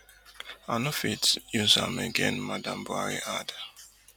i no fit use am again madam buhari add